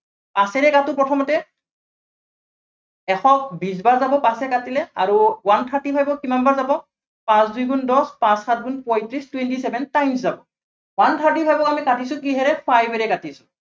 পাঁচেৰে কাটো প্ৰথমতে। এশ বিশ বাৰ যাব পাঁচেৰে কাটিলে। আৰু one thirty five ক কিমান বাৰ যাব, পাঁচ দুই গুন দহ, পাঁচ সাত গুন পয়ত্ৰিশ twenty seven times যাব one thirty five ক আমি কাটিছো কিহেৰে five এৰে কাটিছো।